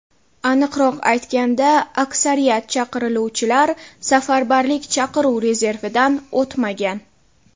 Aniqroq aytganda, aksariyat chaqiriluvchilar safarbarlik chaqiruv rezervidan o‘tmagan.